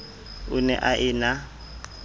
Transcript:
o ne a e na